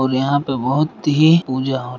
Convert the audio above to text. ओर यहाँ पे बोहोत ही पूजा हो रही हैं।